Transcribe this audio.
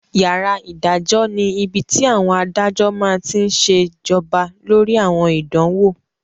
Yàrá ìdájọ́ ni ibi tí àwọn adájọ́ máa tí n ṣe jọba lórí àwọn ìdánwò